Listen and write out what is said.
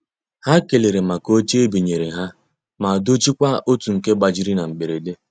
Ha ekelere maka oche ebinyere ha ma dochie kwa otu nke gbajiri na mberede.